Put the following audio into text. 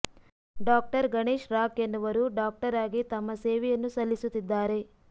doctor Ganesh Rakh ಎನ್ನುವರು doctor ಆಗಿ ತಮ್ಮ ಸೇವೆಯನ್ನು ಸಲ್ಲಿಸುತ್ತಿದ್ದಾರೆ